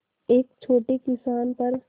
एक छोटे किसान पर